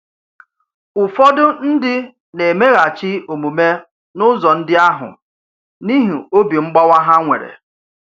Ụ̀fọdụ ndị na-emeghachi omume n’ụ̀zọ̀ ndị ahụ n’ihi obi mgbàwa ha nwere.